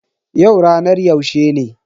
Yau ranar yaushe ne?